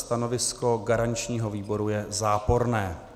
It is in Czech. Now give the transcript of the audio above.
Stanovisko garančního výboru je záporné.